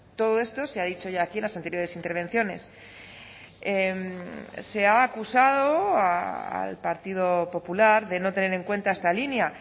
todo esto se ha dicho ya aquí en las anteriores intervenciones se ha acusado al partido popular de no tener en cuenta esta línea